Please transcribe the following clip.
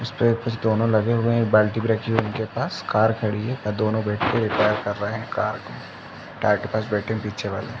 उसपे कुछ दोनों लगे हुए हैं। एक बाल्टी भी रखी हुई है उनके पास कार खड़ी है और दोनों बैठके रिपेर कर रहे हैं कार को टायर के पास बेठे हैं पीछे वाले --